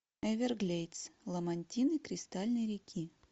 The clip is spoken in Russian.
эверглейдс ламантины кристальной реки